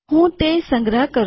હું તે સંગ્રહ કરું